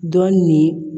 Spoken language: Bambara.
Dɔ nin